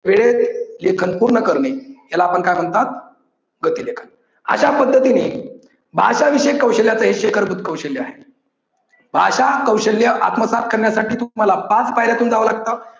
वेळेत लेखन पूर्ण करणे याला पण काय म्हणतात गती लेखन. अश्या पद्धतीने भाषा विषयक कौशल्याच हे शिखरभूत कौशल्य आहे. भाषा कौशल्य आत्मसात करण्यासाठी तुम्हाला पाच पायऱ्यातून जाव लागतं.